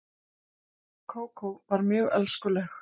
Kókó var mjög elskuleg.